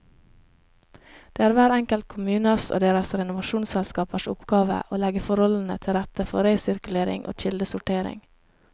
Det er hver enkelt kommunes og deres renovasjonsselskapers oppgave å legge forholdene til rette for resirkulering og kildesortering.